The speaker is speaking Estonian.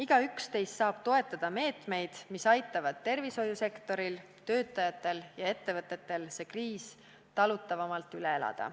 Igaüks teist saab toetada meetmeid, mis aitavad tervishoiusektoril, töötajatel ja ettevõtetel see kriis talutavamalt üle elada.